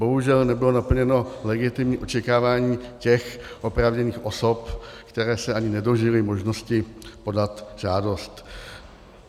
Bohužel nebylo naplněno legitimní očekávání těch oprávněných osob, které se ani nedožily možnosti podat žádost.